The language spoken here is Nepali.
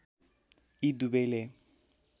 यी दुवैले